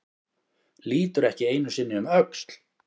Lítur ekki einu sinni um öxl.